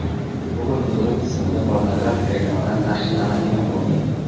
Google qidiruv tizimida pornografik reklamalar taqiqlanadigan bo‘ldi.